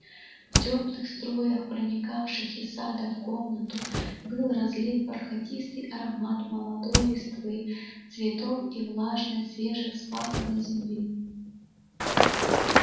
в тёплых струях проникавших из сада в комнату был разлит бархатистый аромат молодой листвы цветов и влажной свежевспаханной земли